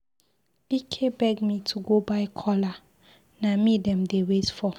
Ike beg me to go buy kola, na me dem dey wait for.